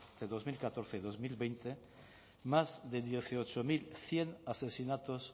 de dos mil catorce a dos mil veinte más de dieciocho mil cien asesinatos